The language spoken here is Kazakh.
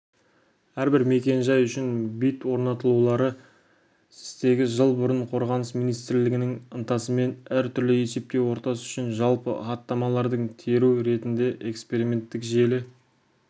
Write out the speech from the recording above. әрбір мекен-жай үшін бит орнатулары стегі жыл бұрын қорғаныс министрлігінің ынтасымен әр түрлі есептеу ортасы үшін жалпы хаттамаларды теру ретінде эксперименттік желі